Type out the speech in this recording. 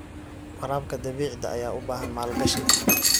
Waraabka dhibicda ayaa u baahan maalgashi.